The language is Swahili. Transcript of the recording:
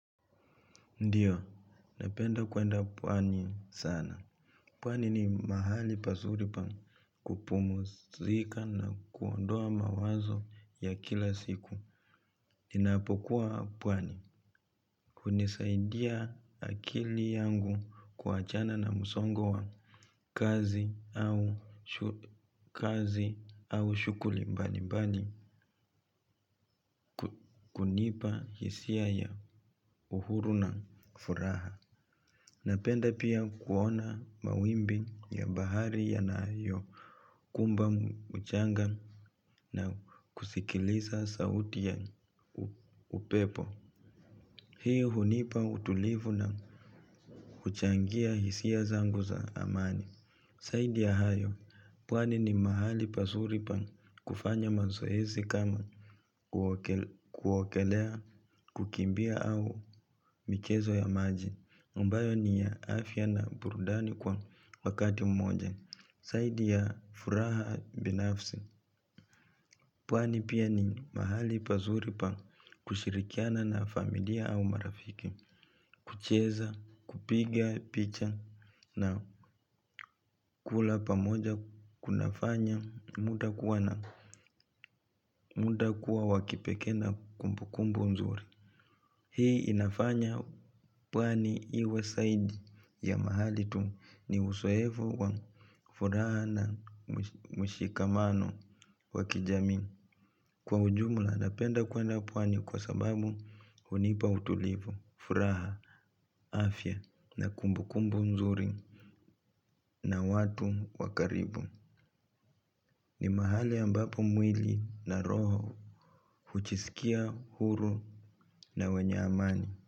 Ndiyo, napenda kuenda pwani sana. Pwani ni mahali pazuri pa kupumzika na kuondoa mawazo ya kila siku. Ninapokuwa pwani kunisaidia akili yangu kuachana na msongo wa kazi. Kazi au shughuli mbali mbali kunipa hisia ya uhuru na furaha. Napenda pia kuona mawimbi ya bahari yanayo kumba mchanga na kusikiliza sauti ya upepo. Hii hunipa utulivu na kuchangia hisia zangu za amani zaidi ya hayo, pwani ni mahali pazuri pa kufanya mazoezi kama kuogelea kukimbia au michezo ya maji. Ambayo ni ya afya na burudani kwa wakati moja zaidi ya furaha binafsi. Pwani pia ni mahali pazuri pa kushirikiana na familia au marafiki. Kucheza, kupiga, picha na kula pamoja kunafanya mtu kuwa na muda kuwa wakipekee na kumbukumbu mzuri. Hii inafanya pwani iwe zaidi ya mahali tu. Ni uzoefu wa furaha na mshikamano wa kijamii. Kwa ujumla napenda kwenda pwani kwa sababu hunipa utulivu, furaha, afya na kumbu kumbu mzuri. Na watu wa karibu ni mahali ambapo mwili na roho hujisikia huru na wenye amani.